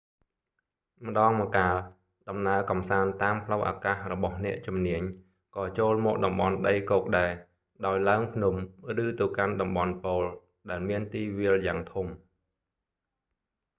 ម្ដងម្កាល ដំណើរកម្សាន្តតាមផ្លូវអាកាសរបស់អ្នកជំនាញ ក៏ចូលមកតំបន់ដីគោកដែរ ដោយឡើងភ្នំ ឬទៅកាន់តំបន់ប៉ូល ដែលមានទីវាលយ៉ាងធំ